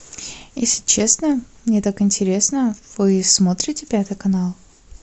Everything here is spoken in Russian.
если честно мне так интересно вы смотрите пятый канал